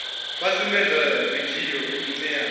vha sumbedze vidio ine ya